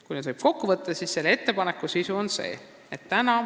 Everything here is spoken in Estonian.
Kui ettepanekud kokku võtta, siis on nende sisu selline.